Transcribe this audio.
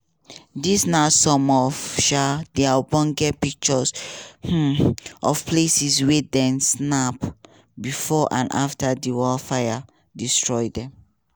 dis na some of um di ogbonge pictures um of places wey dem snap bifor and afta di wildfires destroy dem.